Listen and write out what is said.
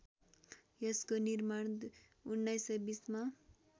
यसको निर्माण १९२० मा